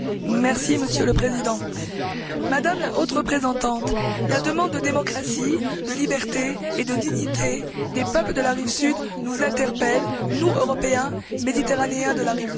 Monsieur le Président, Madame la Haute représentante, la demande de démocratie, de liberté et de dignité des peuples de la rive sud nous interpelle, nous, Européens, méditerranéens de la rive nord.